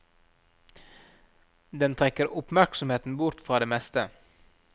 Den trekker oppmerksomheten bort fra det meste.